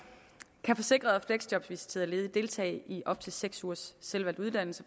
kan forsikrede og fleksjobvisiterede ledige deltage i op til seks ugers selvvalgt uddannelse